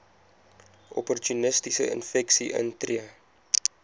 opportunistiese infeksies intree